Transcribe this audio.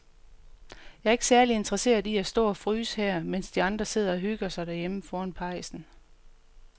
Jeg er ikke særlig interesseret i at stå og fryse her, mens de andre sidder og hygger sig derhjemme foran pejsen.